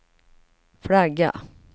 flagga